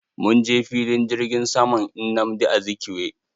Munje filin jirgin saman nnamdi Azikiwe.